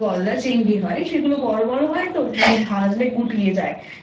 যেগুলো গলদা চিংড়ি হয় সেগুলো বড়ো বড়ো হয়তো কিন্তু ভাজলে গুটিয়ে যায়।